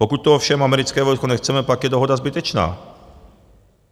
Pokud tu ovšem americké vojsko nechceme, pak je dohoda zbytečná.